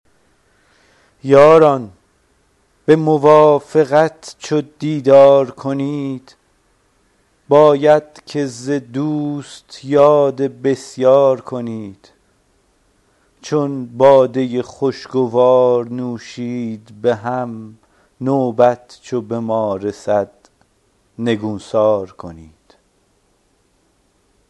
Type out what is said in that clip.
یاران به موافقت چو دیدار کنید باید که ز دوست یاد بسیار کنید چون باده خوشگوار نوشید به هم نوبت چو به ما رسد نگونسار کنید